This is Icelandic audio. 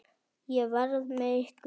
Ég verð með ykkur.